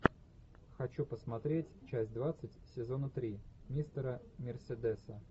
хочу посмотреть часть двадцать сезона три мистера мерседеса